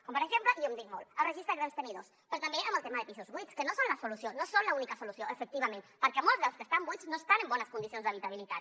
com per exemple i ho hem dit molt el registre de grans tenidors però també en el tema de pisos buits que no són la solució no són l’única solució efectivament perquè molts dels que estan buits no estan en bones condicions d’habitabilitat